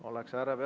Õige!